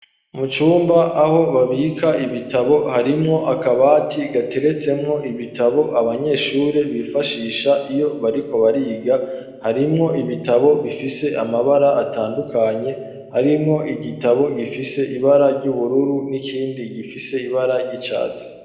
Mu cumba aho babika ibitabo harimwo akabati gateretsemwo ibitabo abanyeshuri bifashisha iyo bariko bariga harimwo ibitabo bifise amabara atandukanye harimwo igitabo gifise ibara ry'ubururu n'ikindi gifise ibara ry'icatsi